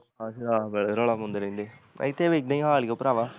ਆਹੋ ਸ਼ਰਾਬ ਆਲੇ ਰੌਲਾ ਪਾਉਂਦੇ ਰਹਿੰਦੇ, ਇੱਥੇ ਵੀ ਇੱਦਾ ਈ ਹਾਲ ਈ ਓ ਪਰਾਵਾਂ